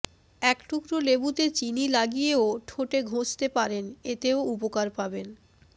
একটুকরো লেবুতে চিনি লাগিয়েও ঠোঁটে ঘষতে পারেন এতেও উপকার পাবেন